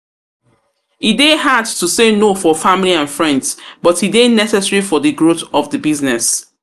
e dey hard to say no for family and friends, but e dey necessary for di growth of di business.